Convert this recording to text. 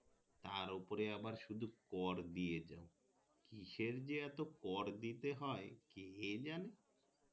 তার ওপরে আবার শুধু কর দিয়ে যাও কিসের যে এত কর দিতে হয় কে জানে